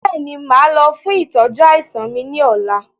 Bẹ́ẹ̀ni, máa lọ fún ìtọ́jú àìsàn mi ni ọ̀la